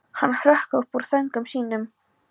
Hann hrökk upp úr þönkum sínum.